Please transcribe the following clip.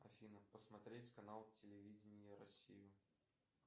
афина посмотреть канал телевидения россию